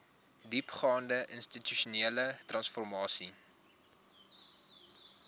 diepgaande institusionele transformasie